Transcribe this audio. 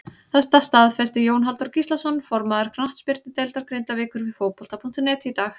Þetta staðfesti Jón Halldór Gíslason formaður knattspyrnudeildar Grindavíkur við Fótbolta.net í dag.